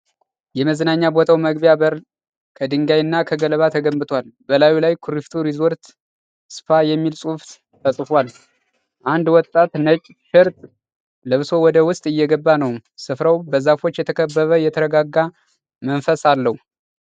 የመዝናኛ ቦታው መግቢያ በር ከድንጋይና ከገለባ ተገንብቷል። በላዩ ላይ "KURIFTU RESORT & SPA" የሚል ፅሁፍ ተጽፏል። አንድ ወጣት ነጭ ቲሸርት ለብሶ ወደ ውስጥ እየገባ ነው። ስፍራው በዛፎች የተከበበ የተረጋጋ መንፈስ አለው።